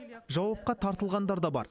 жауапқа тартылғандар да бар